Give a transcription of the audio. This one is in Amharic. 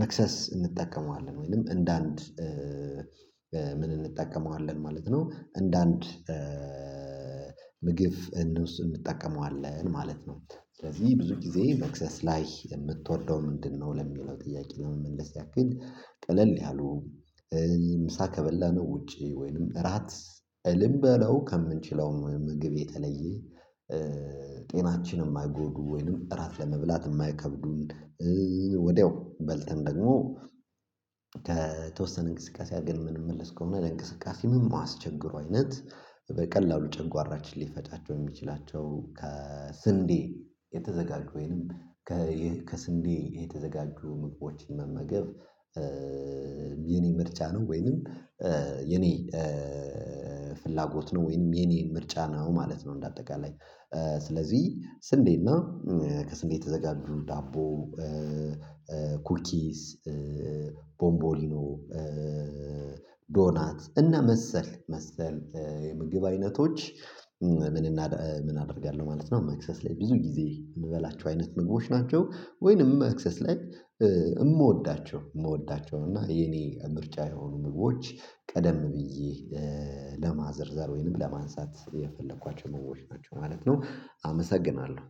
መክሰስ እንጠቀመዋለን ወይንም እንደ አንድ ምን እንጠቀመዋለን ማለት ነው እንደ አንድ ምግብ እንውስ እንጠቀመዋለን ማለት ነው። ስለዚህ ብዙ ጊዜ መክሰስ ላይ የምትወደው ምንድነው ለሚለው ጥያቄ ለመመለስ ያክል ቀለል ያሉ ሳከበላ ነው ውጪ ወይንም እራት ልን በለው ከምንችለውም ምግብ የተለየ ጤናችንም የማይጎዱ ወይንም እራት ለመብላት የማይከብዱን ወዲያው በልተን ደግሞ ከተወሰነ እንቅስቃሴ ግን የምንመለስ ከሆነ እንቅስቃሴ ምን የማስቸግረው አይነት በቀላሉ ጨጓራችን ሊፈጫቸው የሚችላቸው ከስንዴ የተዘጋጁ ወይንም ከስንዴ የተዘጋጁ ምግቦችን መመገብ የኔ ምርጫ ነው ወይንም የኔ ፍላጎት ነው ወይንም የኔን ምርጫ ነው ማለት ነው እንደ አጠቃላይ ስለዚህ ስንዴና ከስንዴ የተዘጋጁ ዳቦ ኩኪስ ኩኪስ ቦምቦሊኖ ዶናት እና መሰል መሰል የምግብ አይነቶች ምን አደርጋለሁ ማለት ነው መክሰስ ላይ ብዙ ጊዜ የምበላቸው አይነት ምግቦች ናቸው ወይንም መክሰስ ላይ የምወዳቸው የምወዳቸው እና የኔ ምርጫ የሆኑ ምግቦች ቀደም ብዬ ለማዘርዘር ወይንም ለማንሳት የፈለኳቸው ነው ምግቦች ማለት ነው አመሰግናለሁ።